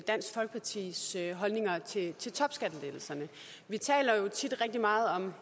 dansk folkepartis holdninger til til topskattelettelserne vi taler jo tit rigtig meget om